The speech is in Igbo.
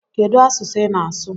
Kedu asụsụ ị na-asụ?